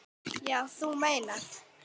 Já, þú meinar.